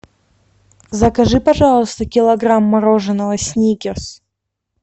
закажи пожалуйста килограмм мороженого сникерс